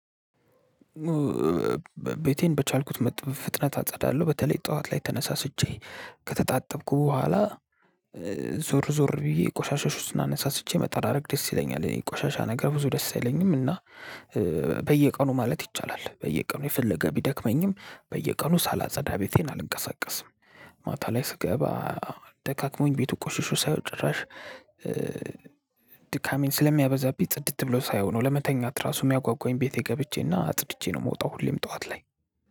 ቤቴን በቻልኩት መጠን በፍጥነት አጸዳለሁ በተለይ ጠዋት ላይ ተነሳስቼ ከተጣጠብኩ በኋላ ዞር ዞር ብዬ ቆሻሾችን እነሳስቼ መጣራረግ ደስ ይለኛል። እኔ ቆሻሻ ነገር ብዙ ደስ አይለኝም እና። በየቀኑ ማለት ይቻላል በየቀኑ የፈለገ ቢደክመኝም በየቀኑ ሳላጸዳ ቤቴን አልንቀሳቀስም። ቤቴን በቻልኩት መጠን በፍጥነት አጸዳለሁ በተለይ ጠዋት ላይ ተነሳስቼ ከተጣጠብኩ በኋላ። ድካሜን ስለሚያበዛብኝ ጽድት ብሎ ሳየው ነው ለመተኛት ራሱ የሚያጓጓኝ ቤቴ ገብቼና አጽድቼ ነው የምወጣው። ሁሌም ጠዋት ላይ